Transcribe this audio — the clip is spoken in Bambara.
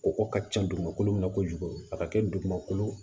Kɔgɔ ka ca dugumakolo min kojugu a ka kɛ dugumakolo